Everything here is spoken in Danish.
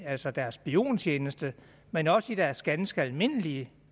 altså deres spiontjeneste men også i deres ganske almindelige